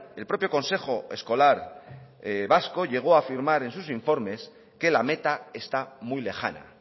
el propio consejo escolar vasco llegó a firmar en sus informes que la meta está muy lejana